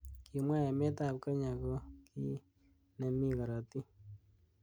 Kimwa emet ab Kenya ko ki nemi karotik.